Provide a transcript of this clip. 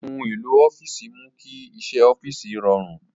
Ohun èlò ọ́fíìsì mú kí iṣẹ́ ọ́fíìsì rọrùn.